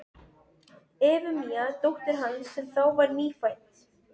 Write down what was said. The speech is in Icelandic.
Efemíu dóttur hans, sem þá var nýfædd.